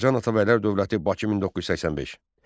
Azərbaycan Atabəylər dövləti, Bakı 1985.